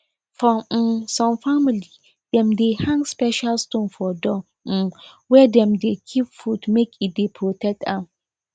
for um some family dem dey hang special stones for door um where dem dey keep food make e dey protect am